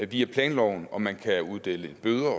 via planloven og man kan uddele bøder